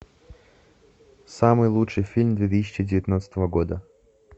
самый лучший фильм две тысячи девятнадцатого года